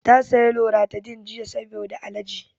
Ta saya loratadin jiya saboda alerji